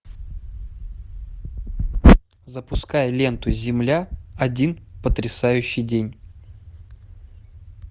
запускай ленту земля один потрясающий день